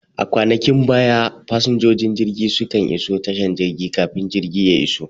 A kwanakin baya fasinjojin jirgi su kan iso tashan jirgin kafin jirgi ya iso